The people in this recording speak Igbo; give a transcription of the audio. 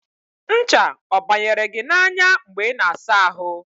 ncha ọ banyere gị n'anya mgbe ị na-asa ahụ?